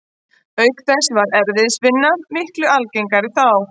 Auk þess var erfiðisvinna miklu algengari þá.